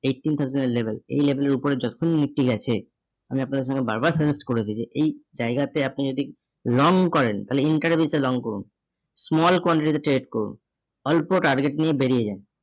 eighteen thousand এর level, এই level এর উপরে যখনই nifty গেছে আপনাদের সামনে বারবার suggest করেছি যে এই জায়গাতে আপনি যদি long করেন তাহলে তে long করুন। Small quantity তে trade করুন। অল্প target নিয়ে বেরিয়ে যান।